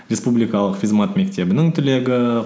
республикалық физмат мектебінің түлегі